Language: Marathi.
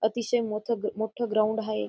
अतिशय मोथ मोठं ग्राउंड आहे.